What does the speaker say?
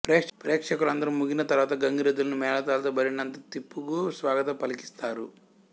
ప్రేక్షకులందరూ మూగిన తరువాత గంగి రెద్దులను మేళతాళాలతో బరినంతా తిప్పుగూ స్వాగతం పలికిస్తారు